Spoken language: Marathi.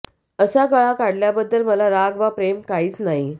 असा गळा काढण्याबद्दल मला राग वा प्रेम काहीच नाही